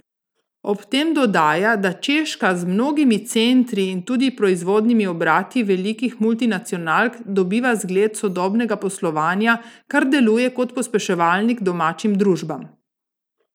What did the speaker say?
Ob tem dodaja, da Češka z mnogimi centri in tudi proizvodnimi obrati velikih multinacionalk dobiva zgled sodobnega poslovanja, kar deluje kot pospeševalnik domačim družbam.